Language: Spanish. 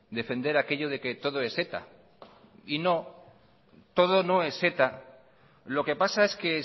defender aquello de que todo es eta no todo no es eta lo que pasa es que